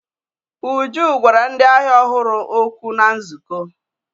Uju gwara ndị ahịa ọhụrụ okwu na nzukọ.